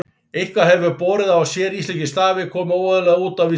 Eitthvað hefur borið á að séríslenskir stafir komi óeðlilega út á Vísindavefnum.